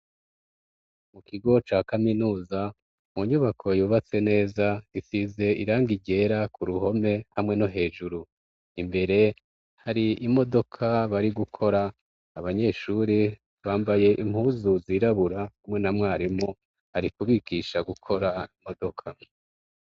Mu kigo ca kaminuza mu nyubako yubatse neza isize irangi ryera ku ruhome hamwe no hejuru, imbere hari imodoka bari gukora, abanyeshure bambaye impuzu zirabura hamwe na mwarimu arikubigisha gukora imodoka.